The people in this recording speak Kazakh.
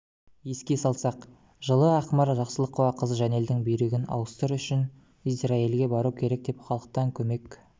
еске салсақ жылы ақмарал жақсылықова қызы жанелдің бүйрегін ауыстыр үшін израильге бару керек деп халықтан көмек